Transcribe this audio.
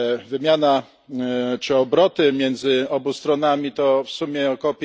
Wymiana czy obroty między obu stronami to w sumie ok.